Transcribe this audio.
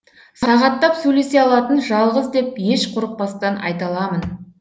сағаттап сөйлесе алатын жалғыз деп еш қорықпастан айта аламын